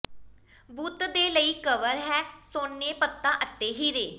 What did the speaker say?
ਬੁੱਤ ਦੇ ਲਈ ਕਵਰ ਹੈ ਸੋਨੇ ਪੱਤਾ ਅਤੇ ਹੀਰੇ